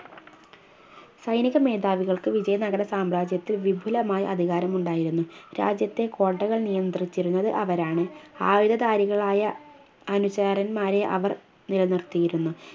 സൈനിക മേധാവികൾക്ക് വിജയ നഗര സാമ്രാജ്യത്തിൽ വിപുലമായ അതികാരമുണ്ടായിരുന്നു രാജ്യത്തെ കോട്ടകൾ നിയന്ത്രിച്ചിരുന്നത് അവരാണ് ആയുധദാരികളായ അനുചാരൻന്മാരെ അവർ നിലനിർത്തിയിരുന്നു